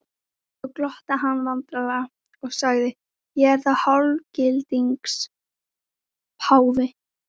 Svo glotti hann vandræðalega og sagði: Ég er þá hálfgildings páfi?